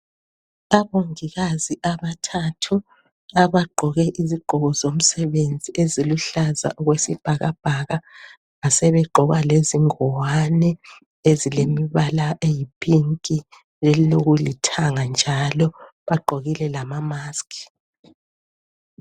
Abongikazi aabthathu abagqoke izigqoko zomsebenzi eziluhlaza okwesibhakabhaka basebegqoka lezingwane ezilemibala eyi "pink"ezilokulithanga njalo, bagqoka ama"mask".